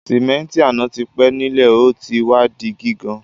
Sìméntì àná ti pẹ́ nílé o ti wa di gígan